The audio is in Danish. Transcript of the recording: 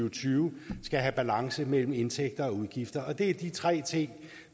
og tyve skal have balance mellem indtægter og udgifter det er de tre ting